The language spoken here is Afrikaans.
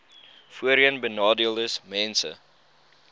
voorheenbenadeeldesmense